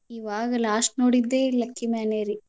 ಇವಾಗ್ last ನೋಡಿದೆ Lucky Man ರೀ.